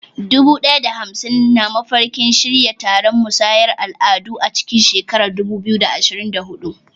Dubu ɗaya da saba'in na mafarkin shirya taron musayar al'adu a cikin shekarar 2024.